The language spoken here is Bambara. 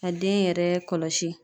Ka den yɛrɛ kɔlɔsi.